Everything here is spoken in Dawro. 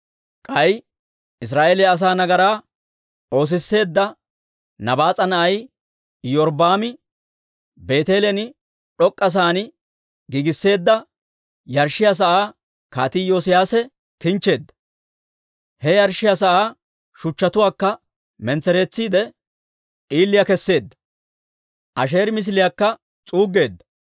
K'ay Israa'eeliyaa asaa nagaraa oosisseedda Nabaas'a na'ay Iyorbbaami Beeteelen d'ok'k'a sa'aan giigisseedda yarshshiyaa sa'aa Kaatii Iyoosiyaase kinchcheedda. He yarshshiyaa sa'aa shuchchatuwaakka mentsereetsiide, d'iile keseedda; Asheeri misiliyaakka s'uuggeedda.